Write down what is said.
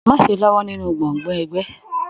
Má ṣe lọwọ nínú gbọ́ngbọ̀n ẹgbẹ!